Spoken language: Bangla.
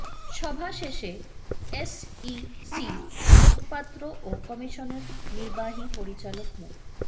সভা শেষে এসইসির মুখপাত্র ও কমিশনের নির্বাহী পরিচালক মো